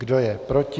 Kdo je proti?